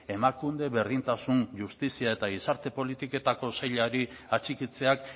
emakunde berdintasun justizia eta gizarte politiketako sailari atxikitzeak